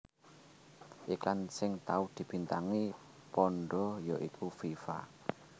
Iklan sing tau dibintangi panda ya iku Viva